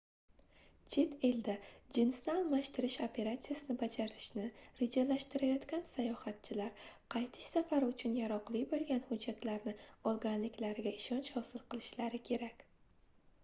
chet elda jinsni almashtirish operatsiyasini bajartirishni rejalashtirayotgan sayohatchilar qaytish safari uchun yaroqli boʻlgan hujjatlarni olganliklariga ishonch hosil qilishlari kerak